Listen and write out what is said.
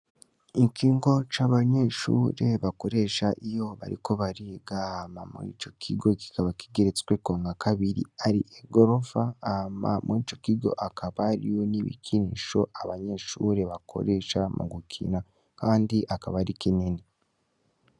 Ikigo c ‘abanyeshure bakoresha iyo bariko bariga. Ico kigo kikaba kigeretsweko nka kabiri ari igorofa hama muri ico kigo hariyo n’ibikinisho abanyeshure bakoresha mu gukina kandi akaba ari kinini .